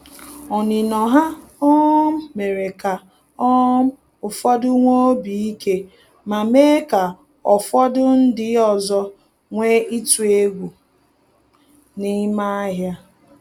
Onino ha um mere ka um ụfọdụ nwee obi ike, ma mee ka ofodu ndị ọzọ nwee itu egwu n’ime ahịa